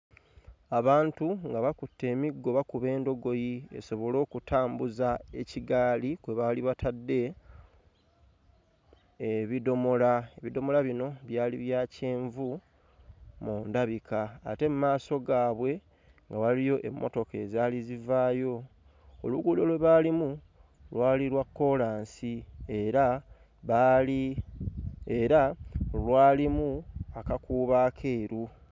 Abantu nga bakutte emiggo bakuba endogoyi esobole okutambuza ekigaali kwe baali batadde ebidomola ebidomola bino byali bya kyenvu mu ndabika ate mmaaso gaabwe waaliyo emmotoka ezaali zivaayo oluguudo lwe baalimu lwali lwa kkoolansi era baali era lwalimu akakuubo akeeru.